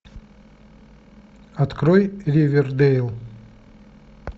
открой ривердейл